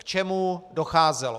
K čemu docházelo?